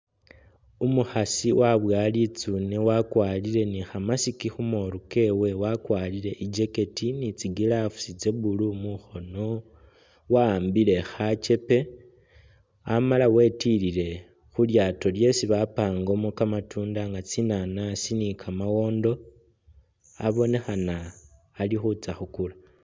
Umukhaasi waboya litsune wakwarire ne kha musk khu moolu kewe, wakwarire i'jacket ne tsi gloves tsya blue mukhoono, wa'ambile mukhono khachepe, amala wetilile khu lyaato lyesi bapangamo kamatunda nga tsinanaasi ne kamawondo, abonekhana ali khutsa khukula.